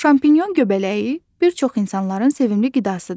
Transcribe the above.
Şampinyon göbələyi bir çox insanların sevimli qidasıdır.